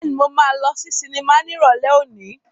Bẹ́ẹ̀ni, mo máa lọ sí sinimá ní Ìrọ̀lẹ́ òní.